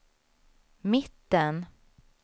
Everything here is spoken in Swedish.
mitten